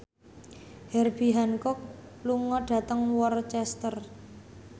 Herbie Hancock lunga dhateng Worcester